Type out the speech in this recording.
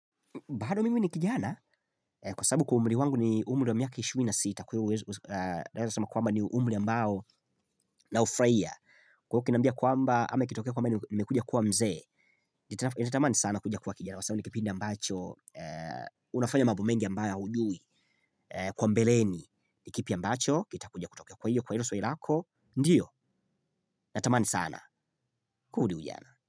Bado mimi ni kijana, kwa sababu kwa umri wangu ni umri wa miaka ishirini na sita kwa hiyo uwezi, naweza sema kwamba ni umri ambao naufurahia. Kwa hiyo ukiniambia kwamba, ama ikitokea kwamba nimekuja kuwa mzee, nitamani sana kuja kuwa kijana, kwa sababu ni kipindi ambacho, unafanya mambo mengi ambayo haujui kwa mbeleni, ni kipi ambacho, kitakuja kutokea kwa hiyo, kwa hilo swali lako, ndiyo, natamani sana, kurudi ujana.